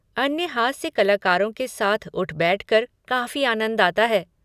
अन्य हास्य कलाकारों के साथ उठ बैठकर काफ़ी आनंद आता है।